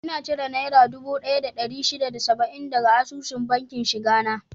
Ina cire naira dubu daya da dari shida da saba'in daga asusun bankin shiga na